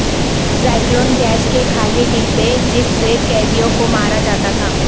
Zyklon gas کے خالی ڈبے جس سے قیدیوں کو مارا جاتا تھا